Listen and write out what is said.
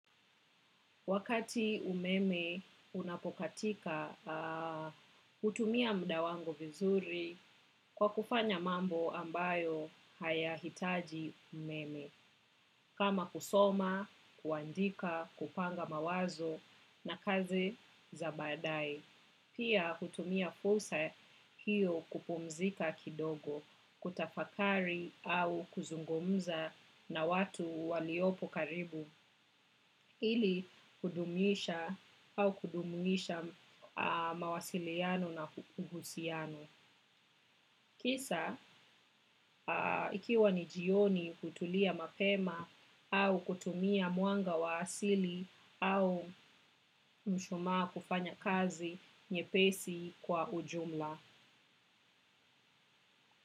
Wakati umeme unapokatika, hutumia muda wangu vizuri kwa kufanya mambo ambayo hayahitaji umeme. Kama kusoma, kuandika, kupanga mawazo na kazi za badae. Pia hutumia fursa hiyo kupumzika kidogo, kutafakari au kuzungumza na watu waliopo karibu. Ili kudumisha au kujumuisha mawasiliano na uhusiano. Kisa ikiwa ni jioni kutulia mapema au kutumia mwanga wa asili au mshumaa kufanya kazi nyepesi kwa ujumla.